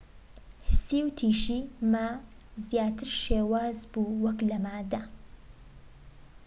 هسی وتیشی ما زیاتر شێواز بووە وەك لە مادە